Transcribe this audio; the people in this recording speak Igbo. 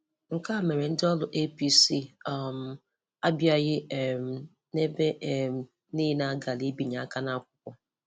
Nke a mere ndi ọrụ APC um abịaghị um n'ebe um niile a gara ibinye aka n'akwụkwọ.